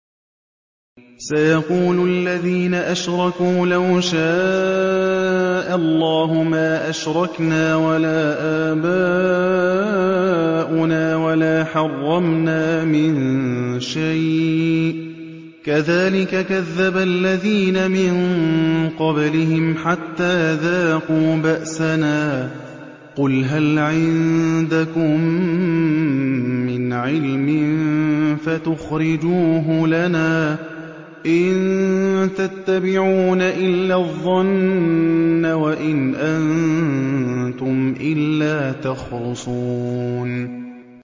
سَيَقُولُ الَّذِينَ أَشْرَكُوا لَوْ شَاءَ اللَّهُ مَا أَشْرَكْنَا وَلَا آبَاؤُنَا وَلَا حَرَّمْنَا مِن شَيْءٍ ۚ كَذَٰلِكَ كَذَّبَ الَّذِينَ مِن قَبْلِهِمْ حَتَّىٰ ذَاقُوا بَأْسَنَا ۗ قُلْ هَلْ عِندَكُم مِّنْ عِلْمٍ فَتُخْرِجُوهُ لَنَا ۖ إِن تَتَّبِعُونَ إِلَّا الظَّنَّ وَإِنْ أَنتُمْ إِلَّا تَخْرُصُونَ